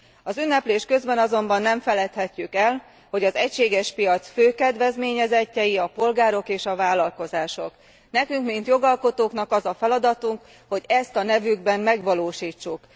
Az ünneplés közben azonban nem feledhetjük el, hogy az egységes piac fő kedvezményezettjei a polgárok és a vállalkozások. Nekünk mint jogalkotóknak az a feladatunk, hogy ezt a nevükben megvalósítsuk.